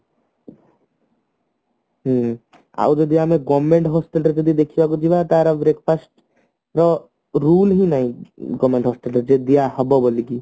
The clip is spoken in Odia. ହଁ ଆଉ ଆମେ ଯଦି government hostel ରେ ଯଦି ଦେଖିବାକୁ ଯିବା ତାର breakfast ର rule ବି ନାଇଁ government hostel ରେ ଯେ ଦିଆହେବ ବୋଲିକି